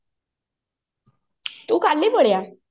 ତୁ କଲି ପଳେଇଆ